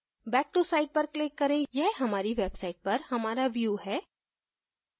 back to site पर click करें यह हमारी website पर हमारा view है